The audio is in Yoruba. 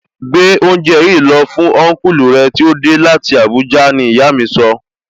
Gbé oúnjẹ yìí lọ fún Ọnkulu rẹ tí ó dé láti Abuja! Ní ìyá mi sọ